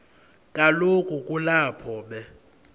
kaloku kulapho be